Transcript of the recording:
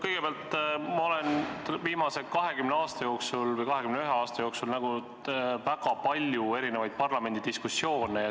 Kõigepealt, ma olen viimase 20 aasta jooksul või 21 aasta jooksul näinud väga palju erinevaid parlamendidiskussioone.